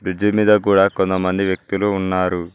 Bridge మింద కూడా కొంతమంది వ్యక్తులు ఉన్నారు.